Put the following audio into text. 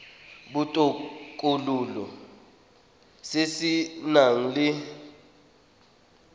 botokololo se se nang le